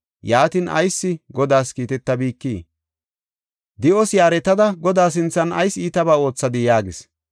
Yaatin, ayis Godaas kiitetabikii? Di7os yaaretada Godaa sinthan ayis iitabaa oothadii?” yaagis.